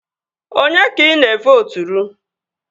Onye ka ị na-evooturu?